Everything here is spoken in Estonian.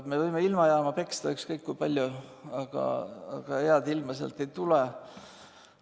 Me võime ilmajaama peksta ükskõik kui palju, aga head ilma sealt ei tule.